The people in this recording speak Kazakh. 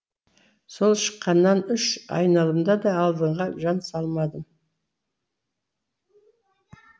сол шыққаннан үш айналымда да алдыға жан салмадым